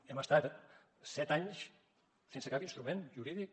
hem estat set anys sense cap instrument jurídic